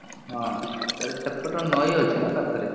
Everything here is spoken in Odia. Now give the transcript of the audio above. ହଁ, ସେପଟେ ନଈ ଅଛି ନା ପାଖରେ।